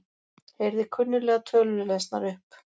Heyrði kunnuglegar tölur lesnar upp